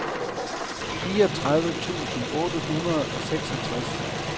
fireogtredive tusind otte hundrede og seksogtres